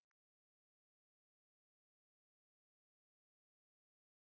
Hver gaf þér leyfi til að fara ofan í mína vasa?